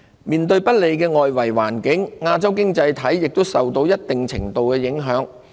面對不利的外圍環境，亞洲經濟體亦受到一定程度的影響。